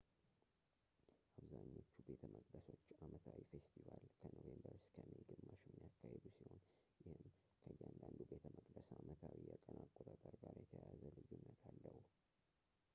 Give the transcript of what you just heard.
አብዛኞቹ ቤተመቅደሶች አመታዊ ፌስቲቫል ከኖቬምበር እስከ ሜይ ግማሽ የሚያካሂዱ ሲሆን ይህም ከእያንዳንዱ ቤተመቅደስ አመታዊ የቀን አቆጣጠር ጋር የተያያዘ ልዩነት አለው